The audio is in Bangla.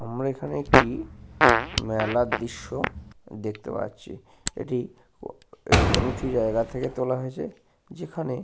আমরা এখানে একটি মেলা -র দৃশ্য দেখতে পাচ্ছি। এটি ঊ ঊএকটি উঁচু জায়গা থেকে তোলা হয়েছে। যেখানে--